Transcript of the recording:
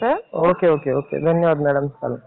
Okay. Okay. Okay. धन्यवाद madam. चालेल.